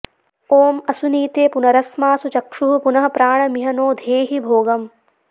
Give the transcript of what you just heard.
ॐ असुनीते पुनरस्मासु चक्षुः पुनः प्राणमिह नो धेहि भोगम्